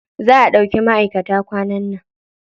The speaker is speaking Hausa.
Za a ɗauka maʼaikata kwanan nan.